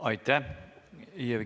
Aitäh!